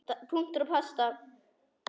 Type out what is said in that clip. Punktur og basta!